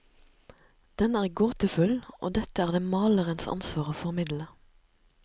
Den er gåtefull, og dette er det malerens ansvar å formidle.